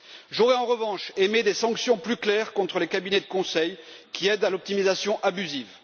J'aurais, en revanche, aimé des sanctions plus claires contre les cabinets de conseil qui aident à l'optimisation abusive.